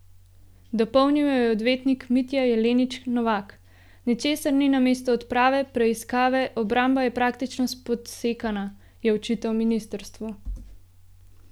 Dopolnil jo je odvetnik Mitja Jelenič Novak: "Ničesar ni namesto odprave preiskave, obramba je praktično spodsekana," je očital ministrstvu.